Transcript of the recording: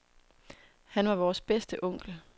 Han var vores bedste onkel.